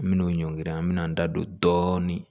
Minnu ɲɔngiri an bɛ n'an da don dɔɔnin